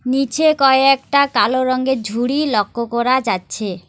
নীচে কয়েকটা কালো রংগের ঝুড়ি লক্ষ করা যাচ্ছে।